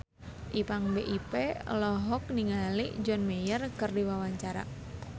Ipank BIP olohok ningali John Mayer keur diwawancara